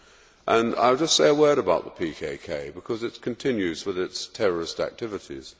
I will just say a word about the PKK, because it continues with its terrorist activities.